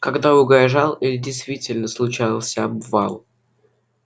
когда угрожал или действительно случался обвал